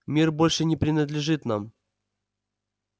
мир больше не принадлежит нам